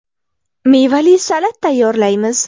Mevali salat tayyorlaymiz.